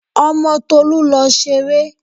Ọmọ Tolú lọ ṣeré!